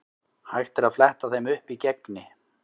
Hægt er að fletta þeim upp í Gegni.